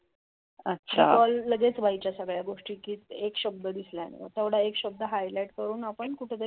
लगेच व्हायच्या सगळ्या गोष्टी, एक शब्द डीसला की तो तेवडा एक शब्द हायलाइट करून आपन कुटे तरी